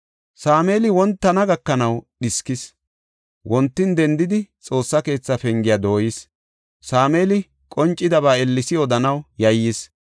Sameeli wontana gakanaw dhiskis; wontin dendidi, Xoossa keetha pengiya dooyis. Sameeli qoncidaba Eelis odanaw yayyis.